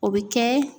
O bɛ kɛ